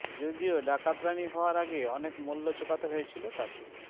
যদিও ডাকাতরানি হওয়ার আগে অনেক মূল্য চোকাতে হয়েছিল তাঁকে